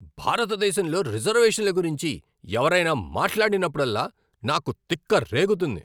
భారతదేశంలో రిజర్వేషన్ల గురించి ఎవరైనా మాట్లాడినప్పుడల్లా నాకు తిక్క రేగుతుంది.